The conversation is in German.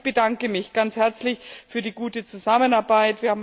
Aber ich bedanke mich ganz herzlich für die gute Zusammenarbeit.